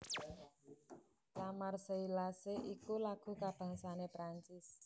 La Marseillaise iku lagu kabangsané Prancis